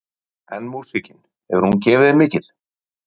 Jóhannes: En músíkin hefur gefið þér mikið?